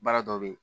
Baara dɔ bɛ ye